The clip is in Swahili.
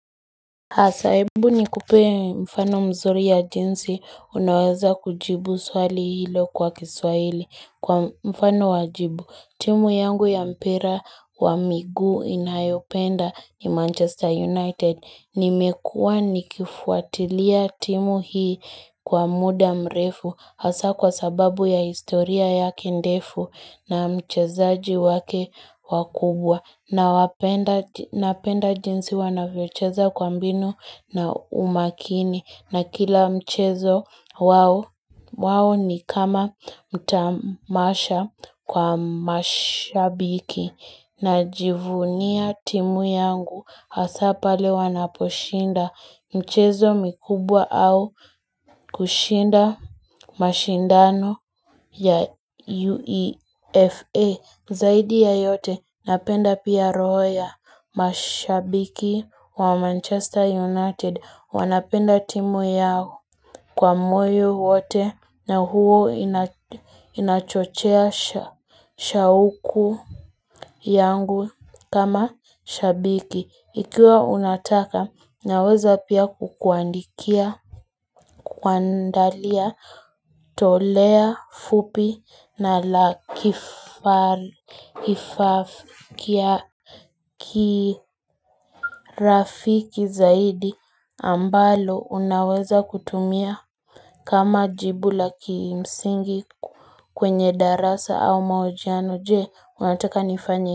Hasa hebu nikupe mfano mzuri ya jinsi, unaweza kujibu swali hilo kwa kiswahili kwa mfano wa jibu. Timu yangu ya mpira wa miguu inayopenda ni Manchester United. Nimekuwa nikifuatilia timu hii kwa muda mrefu. Hasa kwa sababu ya historia yake ndefu na mchezaji wake wakubwa. Napenda jinsi wanavyocheza kwa mbinu na umakini na kila mchezo wao ni kama mtamasha kwa mashabiki Najivunia timu yangu hasa pale wanaposhinda Mchezo mikubwa au kushinda mashindano ya UEFA Zaidi ya yote napenda pia roho ya mashabiki wa Manchester United wanapenda timu yao kwa moyo wote na huo inachochea shauku yangu kama shabiki. Ikiwa unataka, naweza pia kukuandikia, kuandalia, toleo fupi, na la kiafiki kirafiki zaidi, ambalo unaweza kutumia kama jibu la kimsingi kwenye darasa au mahojiano je, unataka nifanye.